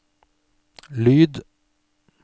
lyd